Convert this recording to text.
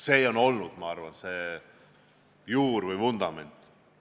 See on olnud, ma arvan, see juur või vundament.